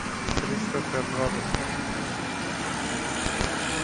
кристофер робин